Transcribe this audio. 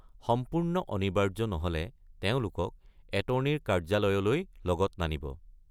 সম্পূৰ্ণ অনিবাৰ্য নহ’লে তেওঁলোকক এটৰ্নীৰ কাৰ্যালয়লৈ লগত নানিব।